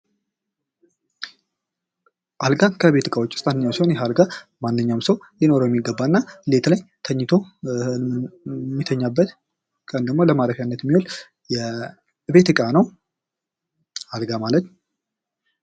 አልጋ ከቤት እቃወች ውስጥ አንደኛው ሲሆን ይህ አልጋ ማንኛውም ሰው ሊኖረው የሚገባና ሌት ላይ ተኝቶ የሚተኛበት ቀን ደግሞ ለማረፊያነት የሚውል የቤት እቃ ነው። አልጋ ማለት።